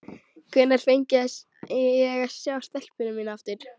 Hvenær fengi ég að sjá stelpuna mína aftur?